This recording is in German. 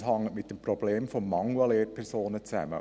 Es hängt mit dem Mangel an Lehrpersonen zusammen.